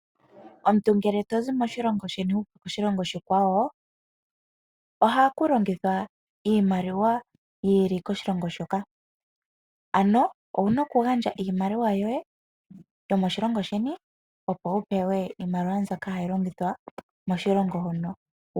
Omuntu ngele to zi moshilongo sheni wu uka koshilongo oshikwawo, ohaku longithwa iimaliwa yi ili koshilongo shoka. Ano owu na okugandja iimaliwa yoye yomoshilongo sheni, opo wu pewe iimaliwa mbyoka hayi longithwa koshilongo shono.